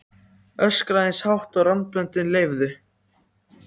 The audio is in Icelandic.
Öskraði eins hátt og raddböndin leyfðu.